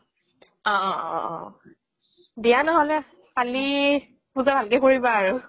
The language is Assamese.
অ অ অ অ দিয়া নহ'লে কালি পূজা ভালকে কৰিবা আৰু